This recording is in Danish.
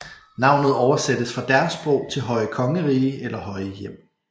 Navnet oversættes fra deres sprog til høje kongerige eller høje hjem